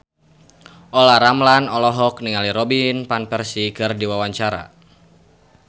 Olla Ramlan olohok ningali Robin Van Persie keur diwawancara